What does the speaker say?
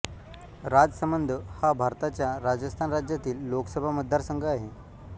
राजसमंद हा भारताच्या राजस्थान राज्यातील लोकसभा मतदारसंघ आहे